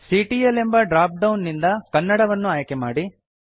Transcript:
CTL ಎಂಬ drop down ನಿಂದ ಕನ್ನಡ ವನ್ನು ಆಯ್ಕೆ ಮಾಡಿ